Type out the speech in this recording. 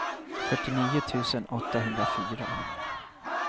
fyrtionio tusen åttahundrafyra